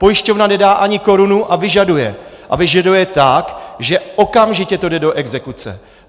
Pojišťovna nedá ani korunu a vyžaduje, a vyžaduje tak, že okamžitě to jde do exekuce.